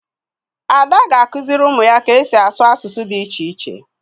Ada ga-akụziri ụmụ ya ka esi asụ asụsụ dị iche iche.